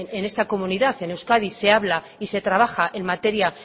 en esta comunidad en euskadi se habla y se trabaja en materia